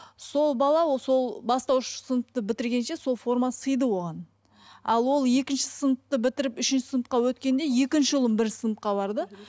сол бала ол сол бастауыш сыныпты бітіргенше сол форма сиды оған ал ол екінші сыныпты бітіріп үшінші сыныпқа өткенде екінші ұлым бірінші сыныпқа барды